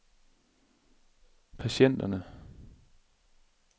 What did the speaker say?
patienterne